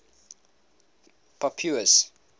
pope pius